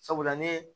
Sabula ne ye